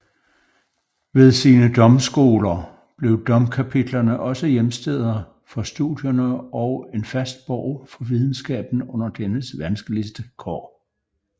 Ved sine domskoler blev domkapitlerne også hjemsteder for studierne og en fast borg for videnskaben under dennes vanskeligste kår